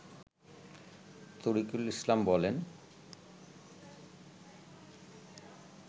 তরিকুল ইসলাম বলেন